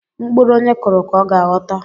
Mkpụrụ onye kuru ka ọ ga-aghọta